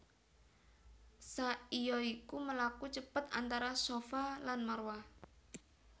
Sai ya iku mlaku cepet antara Shafa lan Marwah